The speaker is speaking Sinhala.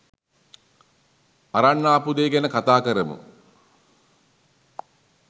අරන් ආපු දේ ගැන කතා කරමු.